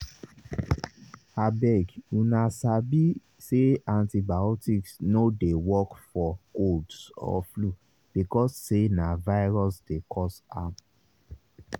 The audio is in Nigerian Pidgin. abeguna sabi say antibiotics no dey work for colds or flu because say na virus dey cause dem